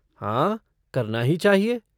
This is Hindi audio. हाँ, करना ही चाहिए।